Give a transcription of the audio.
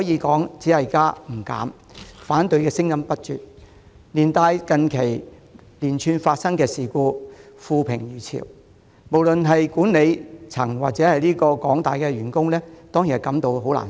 港鐵加價招來反對聲音不絕，加上近期發生連串事故，令港鐵負評如潮，不論是管理層或廣大員工當然也感到難受。